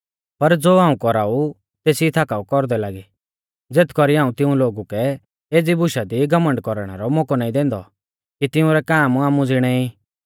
पर ज़ो हाऊं कौराऊ तेसी थाकाऊ कौरदै लागी ज़ेथ कौरी हाऊं तिऊं लोगु कै एज़ी बुशा दी घमण्ड कौरणै रौ मौकौ नाईं दैंदौ कि तिउंरै काम आमु ज़िणै ई